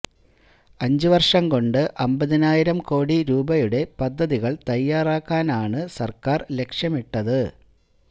അഞ്ച് വർഷം കൊണ്ട് അമ്പതിനായിരം കോടി രൂപയുടെ പദ്ധതികൾ തയ്യാറാക്കാനാണ് സർക്കാർ ലക്ഷ്യമിട്ടത്